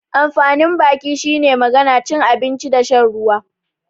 Amfanin baki shine magana, cin abinci da shan ruwa.